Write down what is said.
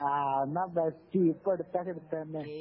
ആ എന്നാ ബെസ്റ്റ് ഇപ്പോ എടുത്താ എടുത്തെ തന്നെ